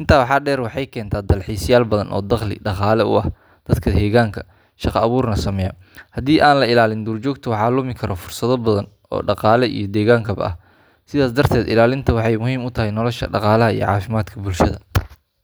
Intaa waxaa dheer, waxay keentaa dalxiisayaal badan oo dakhli dhaqaale u ah dadka deegaanka, shaqo abuurna sameeya. Haddii aan la ilaalin duurjoogta, waxaa lumi kara fursado badan oo dhaqaale iyo deegaankaba ah. Sidaas darteed, ilaalinteeda waxay muhiim u tahay nolosha, dhaqaalaha, iyo caafimaadka bulshada.